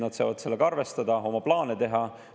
Nad saavad sellega arvestada, oma plaane teha.